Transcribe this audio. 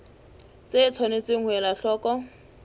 tse tshwanetseng ho elwa hloko